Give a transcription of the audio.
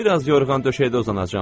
Bir az yorğan-döşəkdə uzanacam.